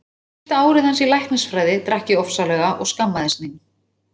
Fyrsta árið hans í læknisfræði drakk ég ofsalega og skammaðist mín.